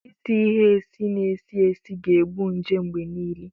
Ịsị ịhe esi na-esi esi ga-egbu nje mgbe niile